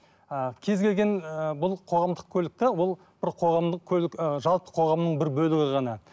ы кез келген ыыы бұл қоғамдық көлік те ол бір қоғамдық көлік ы жалпы қоғамның бір бөлігі ғана